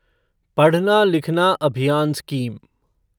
पढ़ना लिखना अभियान स्कीम